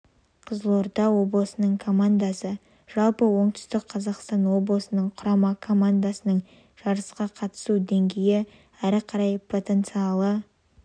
қызылорда облысының командасы жалпы оңтүстік қазақстан облысының құрама командасының жарысқа қатысу деңгейі әрі қарай потенциалы